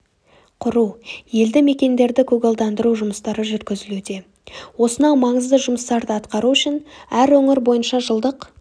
құру елді мекендерді көгалдандыру жұмыстары жүргізілуде осынау маңызды жұмыстарды атқару үшін әр өңір бойынша жылдық